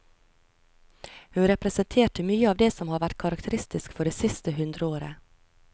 Hun representerte mye av det som har vært karakteristisk for det siste hundreåret.